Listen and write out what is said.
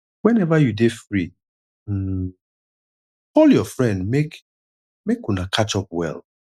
whenever you dey free um call your friend make make una catch up well